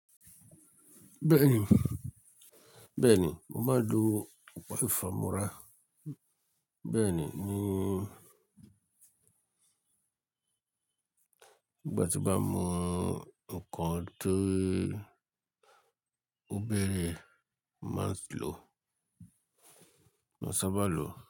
Bẹ́ẹ̀ni, bẹ́ẹ̀ni, mo máa ń lo kòfífámọrá. Bẹ́ẹ̀ni, nígbà tí bá mú nǹkan tó bèèrè ẹ̀, máa ń sábà lo.